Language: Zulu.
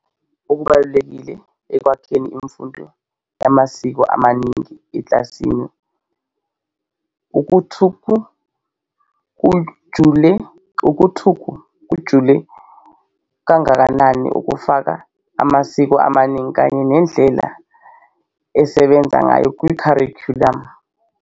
Okunye esingaku bheka okubalulekile okwakheni imfundo yamasiko amaningi ekilasini ukuthu kujule kangakanani ukufaka amasiko amaningi kanye nendlela esebenza ngayo kwi kharikhulamu.